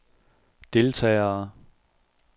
deltagere